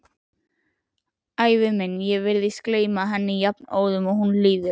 Ævi mín, ég virðist gleyma henni jafnóðum og hún líður.